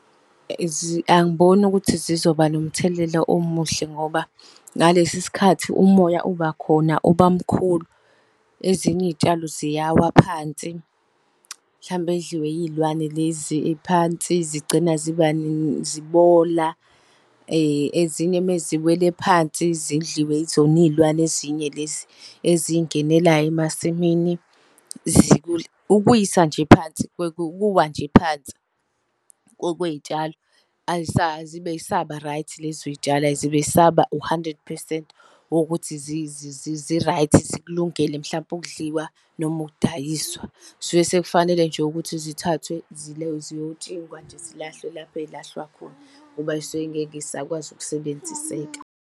Angiboni ukuthi zizoba nomthelela omuhle ngoba ngalesi sikhathi umoya obakhona uba mkhulu. Ezinye iy'tshalo ziyawa phansi, hlampe zidliwe iy'lwane lezi phansi zigcina ziba zibola. Ezinye meziwele phansi zidliwe izona iy'lwane ezinye lezi ezingenelayo emasimini . Ukuwisa nje phansi ukuwa nje phansi, kwey'tshalo azibe zisaba-right lezo zitshalo, azibe zisaba u-hundred percent wokuthi zi-right zikulungele mhlampe ukudliwa noma ukudayiswa. Kusuke sekufanele nje ukuthi zithathwe ziyotshingwa nje zilahlwe lapha ey'lahlwa khona, ngoba zisuke zingeke zisakwazi ukusebenziseka.